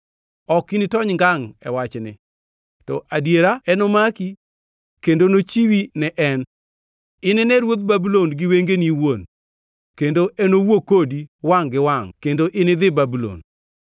Ok initony ngangʼ e wachni to adiera enomaki kendo nochiwi ne en. Inine ruodh Babulon gi wengeni iwuon, kendo enowuo kodi wangʼ gi wangʼ kendo inidhi Babulon.